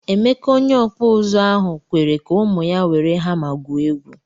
Emeka onye okpu uzu ahu kwere ka ụmụ ya were hama gwuo egwu.